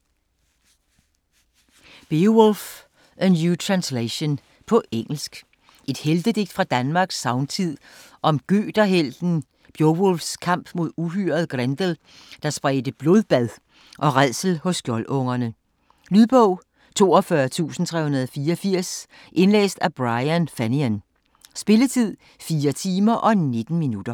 Beowulf: a new translation På engelsk. Et heltedigt fra Danmarks sagntid om gøterhelten Bjovulfs kamp mod uhyret Grendel, der spredte blodbad og rædsel hos skjoldungerne. Lydbog 42384 Indlæst af Brian Fenton Spilletid: 4 timer, 19 minutter.